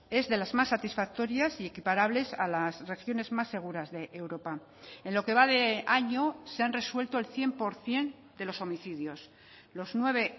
es de las más satisfactorias y equiparables a las regiones más seguras de europa en lo que va de año se han resuelto el cien por ciento de los homicidios los nueve